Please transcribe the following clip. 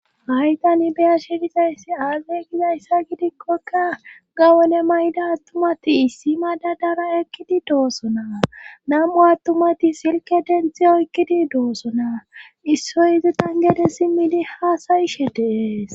haytani beyashe bizayssi aage gizayssa gidikkokka gawone mayda attumati issi mada dara ekkidi doosona nam7u attumati silke denthi oykkidi doosona issoy izi tangede simmidi haasayishe de'es